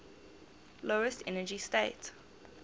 lowest energy state